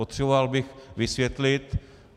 Potřeboval bych vysvětlit.